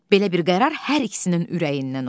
Belə bir qərar hər ikisinin ürəyindən oldu.